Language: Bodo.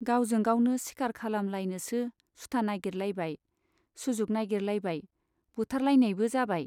गावजों गावनो सिखार खालाम लायनोसो सुथा नागिर लायबाय , सुजुग नागिरलायबाय , बुथारलायनाइबो जाबाय।